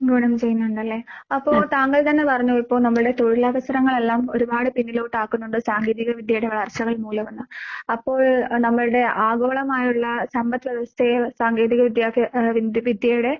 ഗുണം ചെയ്യുന്നൊണ്ടല്ലേ. അപ്പൊ താങ്കൾ തന്നെ പറഞ്ഞു ഇപ്പോ നമ്മടെ തൊഴിലവസരങ്ങളെല്ലാം ഒരുപാട് പിന്നിലോട്ടാക്കുന്നൊണ്ട് സാങ്കേതിക വിദ്യയുടെ വളർച്ചകൾ മൂലമെന്ന്. അപ്പോൾ നമ്മൾടെ ആഗോളമായുള്ള സമ്പത്‌വ്യവസ്ഥയെ സാങ്കേതിക വിദ്യയൊക്കെ ഏ വിന്ദ് വിദ്യയുടെ